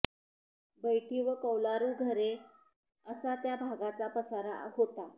बैठी व कौलारू घरे असा त्या भागाचा पसारा होता